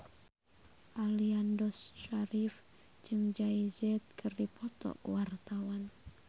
Aliando Syarif jeung Jay Z keur dipoto ku wartawan